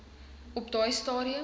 op daai stadium